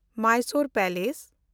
Mysore palace